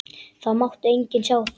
Það mátti enginn sjá það.